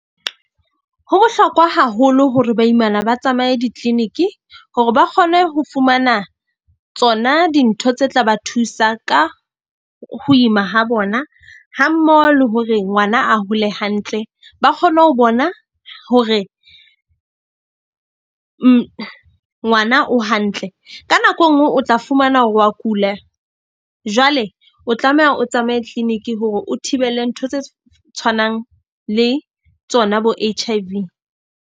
Ho bohlokwa haholo hore baimana ba tsamaye di-clinic hore ba kgone ho fumana tsona dintho tse tla ba thusa ka ho ima ha bona. Ha mmoho le hore ngwana a hole hantle, ba kgone ho bona hore ngwana o hantle. Ka nako e nngwe o tla fumana hore wa kula jwale o tlameha o tsamaye clinic-i hore o thibele ntho tse tshwanang le tsona bo H_I_V.